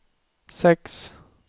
sex